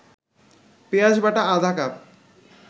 পেঁয়াজবাটা আধা কাপ